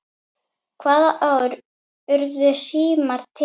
Hvaða ár urðu símar til?